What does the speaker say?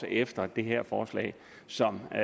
efter det her forslag som jeg